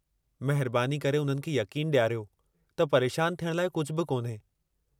महिरबानी करे उन्हनि खे यक़ीनु ॾियारियो त परेशान थियणु लाइ कुझु बि कोन्हे।